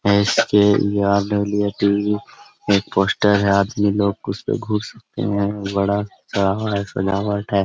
एस.के.ई.आर.डबलू.ए.टी.वी. एक पोस्टर है आदमी लोग घुस सकते है बड़ा है सजावट है।